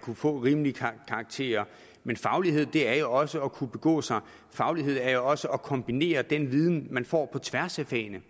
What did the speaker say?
kunne få rimelige karakterer men faglighed er jo også at kunne begå sig faglighed er jo også at kunne kombinere den viden man får på tværs af fagene